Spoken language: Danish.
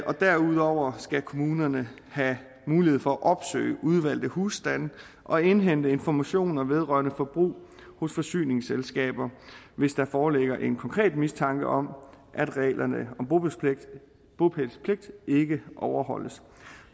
derudover skal kommunerne have mulighed for at opsøge udvalgte husstande og indhente informationer vedrørende forbrug hos forsyningsselskaberne hvis der foreligger en konkret mistanke om at reglerne om bopælspligt bopælspligt ikke overholdes